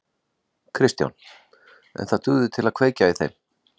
Kristján: En það dugði til að kveikja í þeim?